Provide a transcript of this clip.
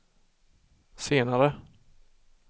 senare